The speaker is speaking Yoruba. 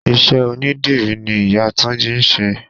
Ìṣe onidírì ni ìyá túnjí ń ṣe.